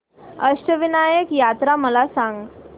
अष्टविनायक यात्रा मला सांग